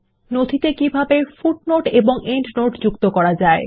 নথিতে কিভাবে পাদলেখ ও এন্ডনোট যোগ করা যায়